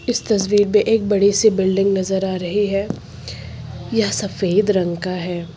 इस तस्वीर पे एक बड़ी सी बिल्डिंग नजर आ रही है यह सफेद रंग का है।